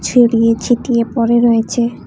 ছড়িয়ে ছিটিয়ে পড়ে রয়েছে।